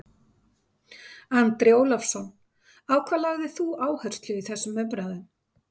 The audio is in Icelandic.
Andri Ólafsson: Á hvað lagðir þú áherslu í þessum umræðum?